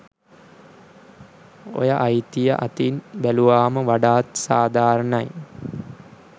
ඔය අයිතිය අතින් බැලුවම වඩාත් සාධාරණයි.